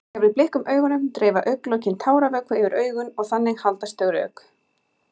Þegar við blikkum augunum dreifa augnlokin táravökva yfir augun og þannig haldast þau rök.